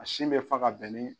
A sin bɛ fa ka bɛn ni